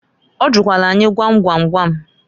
Ọ jụkwalụ anyị gwam gwam gwam.